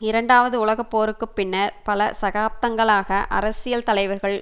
இரண்டாவது உலக போருக்கு பின்னர் பல சதாப்தங்களாக அரசியல் தலைவர்கள்